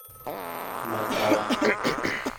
матрах